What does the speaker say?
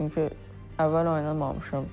Çünki əvvəl oynamamışam.